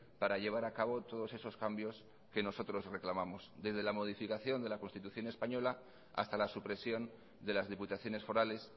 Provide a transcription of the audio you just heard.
para llevar a cabo todos esos cambios que nosotros reclamamos desde la modificación de la constitución española hasta la supresión de las diputaciones forales